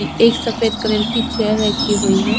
एक सफ़ेद कलर की चेयर रखी हुई है।